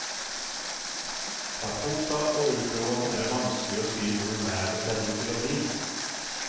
Fra torsdag og utover er det vanskelig å si hvordan været ser ut til å bli.